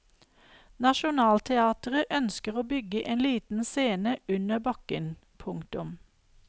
Nationaltheatret ønsker å bygge en liten scene under bakken. punktum